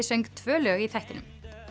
söng tvö lög í þættinum